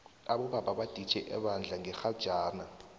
abobaba baditjhe ebandla ngerhajana